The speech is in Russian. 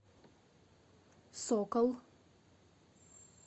сокол